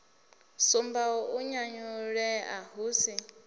sumbaho u nyanyulea hu si